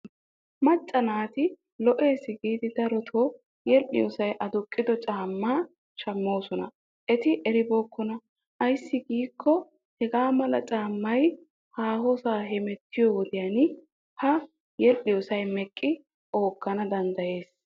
Macca naati lo'es giidi darotoo yedhdhiyoosay aduqqido caammaa shammoosona. Eti eribookkona ayssi giikko hagaa mala caammay haahosaa hemettiyo wodiyan ha yedhdhiyoosay meqqidi onggan danddayes.